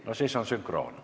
No siis on sünkroon.